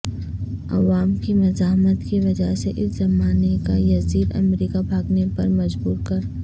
عوام کی مزاحمت کی وجہ سے اس زمانے کا یذید امریکہ بھاگنے پر مجبور کر